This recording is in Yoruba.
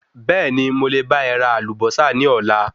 Bẹ̀ẹ́ni mo lè bá e ra Àlùbósà ní Ọ̀la